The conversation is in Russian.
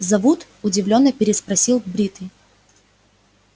зовут удивлённо переспросил бритый